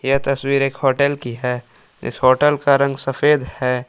यह तस्वीर एक होटल की है इस होटल का रंग सफेद है।